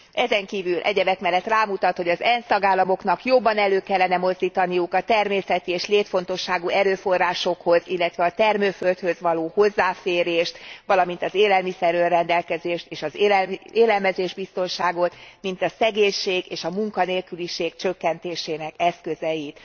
Ezen kívül egyebek mellett rámutat, hogy az ENSZ tagállamoknak jobban elő kellene mozdítaniuk a természeti és létfontosságú erőforrásokhoz, illetve a termőföldhöz való hozzáférést, valamint az élelmiszer önrendelkezést és az élelmiszer biztonságot, mint a szegénység és a munkanélküliség csökkentésének eszközeit.